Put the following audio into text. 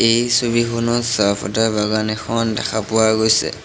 এই ছবিখনত চাহ ফটা বাগান এখন দেখা পোৱা গৈছে।